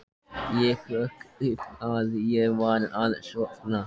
Ég hrökk upp við að ég var að sofna.